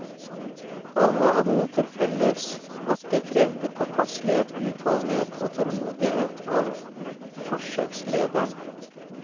Alle hadde det til felles at de krevde påpasselighet, utholdenhet og tålmodighet av forsøkslederen.